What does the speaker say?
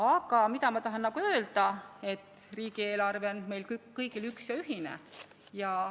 Aga ma tahan öelda, et riigieelarve on meil kõigil üks ja ühine.